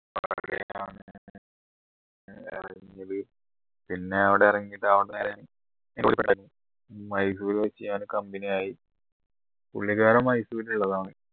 പിന്നെ അവിടെ ഇറങ്ങി അവിടുന്ന് നേരെ മൈസൂര് company ആയി പുള്ളിക്കാരൻ മൈസൂരിൽ ഉള്ളതാണ്